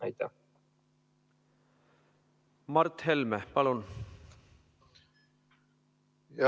Mart Helme, palun!